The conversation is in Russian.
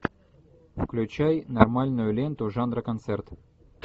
включай нормальную ленту жанра концерт